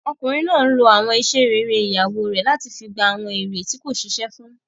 Ọkùnrin náà n lo àwọn iṣẹ́ rere ìyàwó rẹ̀ láti fi gba fún àwọn èrè tí kò ṣiṣẹ́ fún